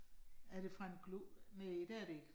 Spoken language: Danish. Er det fra en næh det er det ikke